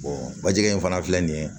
bajɛgɛ in fana filɛ nin ye